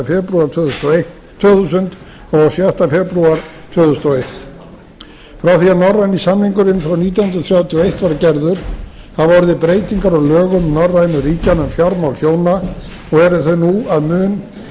febrúar tvö þúsund og sjötta febrúar tvö þúsund og eitt frá því að norræni samningurinn frá nítján hundruð þrjátíu og eitt var gerður hafa orðið breytingar á lögum norrænu ríkjanna um fjármál hjóna og eru þau nú að mun